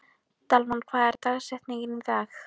Dalmann, hver er dagsetningin í dag?